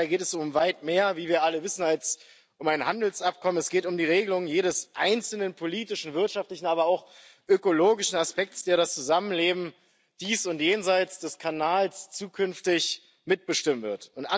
Dabei geht es, wie wir alle wissen, um weit mehr als um ein Handelsabkommen. Es geht um die Regelung jedes einzelnen politischen, wirtschaftlichen, aber auch ökologischen Aspekts, der das Zusammenleben dies und jenseits des Kanals zukünftig mitbestimmen wird.